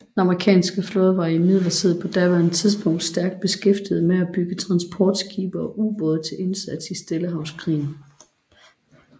Den amerikanske flåde var imidlertid på daværende tidspunkt stærkt beskæftiget med at bygge transportskibe og ubåde til indsats i Stillehavskrigen